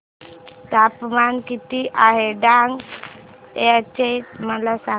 तापमान किती आहे डांग चे मला सांगा